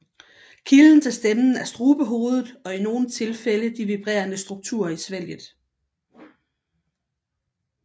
Kilden til stemmen er strubehovedet og i nogle tilfælde de vibrerende strukturer i svælget